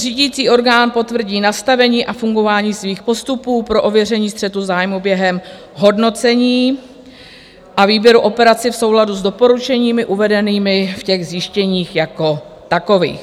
Řídící orgán potvrdí nastavení a fungování svých postupů pro ověření střetu zájmů během hodnocení a výběru operací v souladu s doporučeními uvedenými v těch zjištěních jako takových.